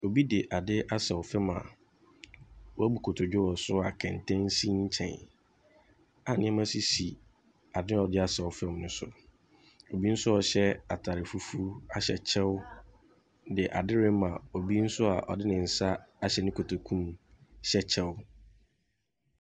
Obi ade asaw fam a wabu kotodwe wɔ so a kɛntɛn si nkyɛn a nneɛma sisi ade a wɔde asaw fam ne so. Obi nso a ɔhyɛ kyɛw ahyɛ ataare fufuw de ade rema obi nso ɔde ne nsa ahyɛ ne kotoku mu hyɛ kyɛw.